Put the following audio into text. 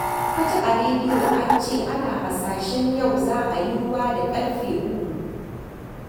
Na ji a rediyo an ce ana hasashen yau za a yi ruwa da ƙarfe uku